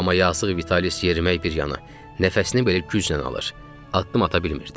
Amma yazıq Vitalis yerimək bir yana, nəfəsini belə güclə alır, addım ata bilmirdi.